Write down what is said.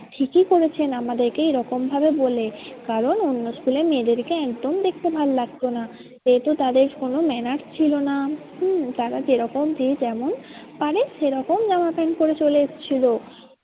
ঠিকই করেছেন আমাদেরকে এরকম ভাবে বলে। কারণ অন্য school এর মেয়েদেরকে একদম দেখতে ভাল্লাগতো না। যেহেতু তাদের কোনো manners ছিল না হম তারা যেরকম যে যেমন পারে সেরকম জামা প্যান্ট পরে চলে এসছিল।